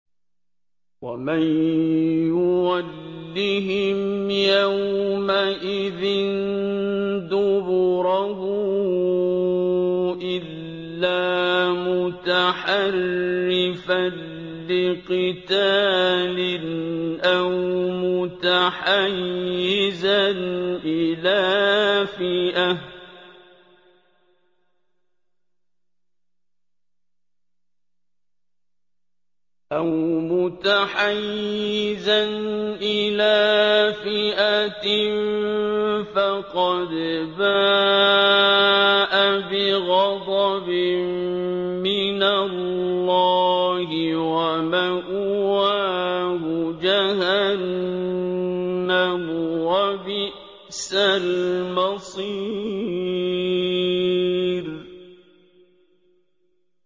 وَمَن يُوَلِّهِمْ يَوْمَئِذٍ دُبُرَهُ إِلَّا مُتَحَرِّفًا لِّقِتَالٍ أَوْ مُتَحَيِّزًا إِلَىٰ فِئَةٍ فَقَدْ بَاءَ بِغَضَبٍ مِّنَ اللَّهِ وَمَأْوَاهُ جَهَنَّمُ ۖ وَبِئْسَ الْمَصِيرُ